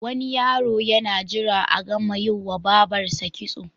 Wani yaro yana jira a gama yiwa babarsa kitso.